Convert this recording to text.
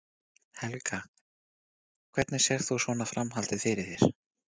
Helga: Hvernig sérð þú svona framhaldið fyrir þér?